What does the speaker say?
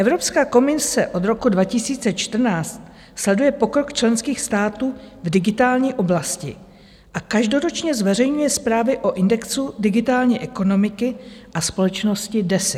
Evropská komise od roku 2014 sleduje pokrok členských států v digitální oblasti a každoročně zveřejňuje zprávy o indexu digitální ekonomiky a společnosti DESI.